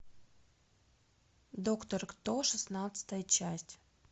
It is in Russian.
доктор кто шестнадцатая часть